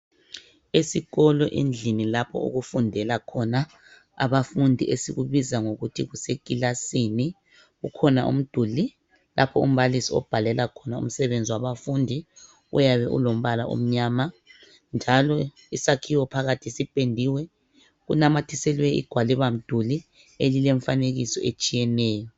Esikolo endlini lapho okufundela khona abafundi esikubiza ngokuthi kusekilasini. Kukhona umduli lapho umbalisi obhalela khona umsebenzi wabafundi uyabe ulombala omnyama njalo isakhiwo phakathi siphendiwe. Kunamathiselwe igwalibamduli elilemifanekiso etshiyeneyo.